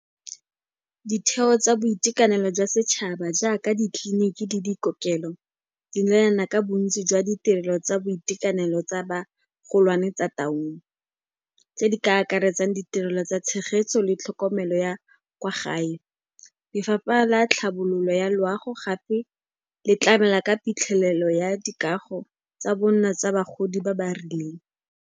Ditheo tsa boitekanelo jwa setšhaba jaaka ditleliniki le dikokelo, di neelana ka bontsi jwa ditirelo tsa boitekanelo tsa bagolwane tsa Taung, tse di ka akaretsang ditirelo tsa tshegetso le tlhokomelo ya kwa gae. Lefapha la tlhabololo ya loago gape le tlamela ka phitlhelelo ya dikago tsa bonno tsa bagodi ba ba rileng.